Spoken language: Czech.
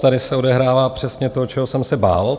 Tady se odehrává přesně to, čeho jsem se bál.